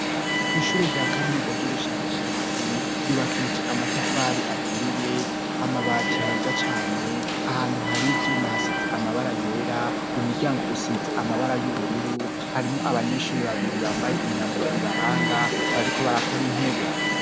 Ishure rya kaminuza ry'ubushakashatsi yubakije amatafari aturiye, amabati meza cane, ahantu hari ivyuma hasize amabara yera, umuryango usize amabara y'ubururu, harimwo abanyeshuri babiri bambaye imyambaro ibaranga bariko barakora intebe.